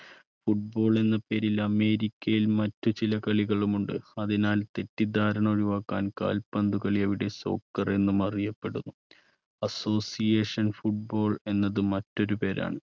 football എന്ന പേരിൽ അമേരിക്കയിൽ മറ്റ് ചില കളികളും ഉണ്ട് അതിനാൽ തെറ്റിദ്ധാരണ ഒഴിവാക്കാൻ കാൽപന്ത് കളി അവിടെ soccer എന്നും അറിയപ്പെടുന്നു association football എന്നത് മറ്റൊരു പേരാണ്.